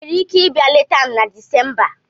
Ị nwere ike ịbịa leta m na Disemba?